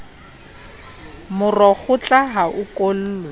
moro kgotla ha o okolwe